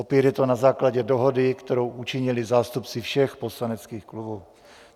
Opět je to na základě dohody, kterou učinili zástupci všech poslaneckých klubů.